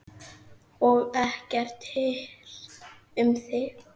Og ekkert hirt um þig.